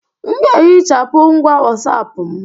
M ga-ehichapụ ngwa WhatsApp m